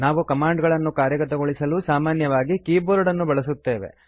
ನಾವು ಕಮಾಂಡ್ ಗಳನ್ನು ಕಾರ್ಯಗತಗೊಳಿಸಲು ಸಾಮಾನ್ಯವಾಗಿ ಕೀಬೋರ್ಡ್ ಅನ್ನು ಬಳಸುತ್ತೇವೆ